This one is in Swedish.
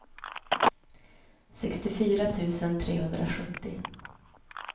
sextiofyra tusen trehundrasjuttio